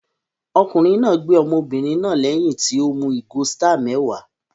Ọkùnrin náà gbé ọmọbìnrin náà lẹ́yìn tí ó mu ìgò Star mẹ́wàá